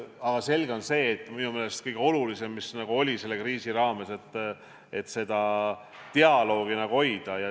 Aga selge on see, minu meelest kõige olulisem selle kriisi raames oli see, et dialoogi tuli hoida.